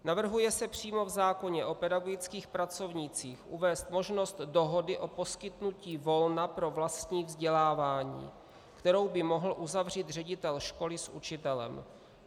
Navrhuje se přímo v zákoně o pedagogických pracovnících uvést možnost dohody o poskytnutí volna pro vlastní vzdělávání, kterou by mohl uzavřít ředitel školy s učitelem.